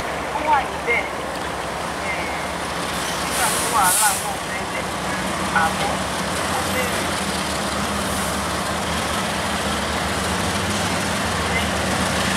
ó wà níbẹ̀ um nígbà tí wàhálà náà bẹ́lẹ̀ àmọ́ ó bèrè fún um ìsinmi lẹ́yìn náà